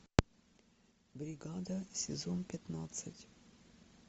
бригада сезон пятнадцать